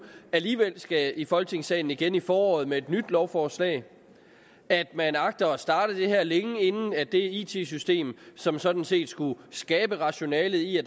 alligevel skal i folketingssalen igen til foråret med et nyt lovforslag at man agter at starte det her længe inden det it system som sådan set skulle skabe rationalet i at